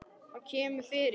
Það kemur fyrir.